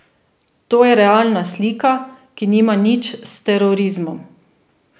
To je realna slika, ki nima nič s terorizmom.